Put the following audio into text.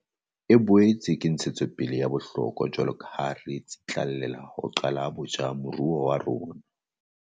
E boetse ke ntshetsopele ya bohlokwa jwaloka ha re tsitlallela ho qala botjha moruo wa rona.